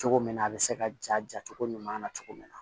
Cogo min na a bɛ se ka ja ja cogo ɲuman na cogo min na